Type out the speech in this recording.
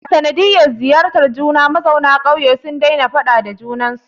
A sanadiyar ziyartar juna, mazauna ƙauye sun daina faɗa da juna